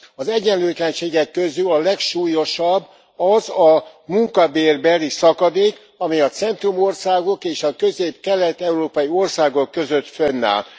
Az egyenlőtlenségek közül a legsúlyosabb az a munkabérbeli szakadék, amely a centrumországok és a közép kelet európai országok között fönnáll.